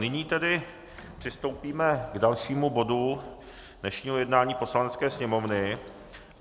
Nyní tedy přistoupíme k dalšímu bodu dnešního jednání Poslanecké sněmovny.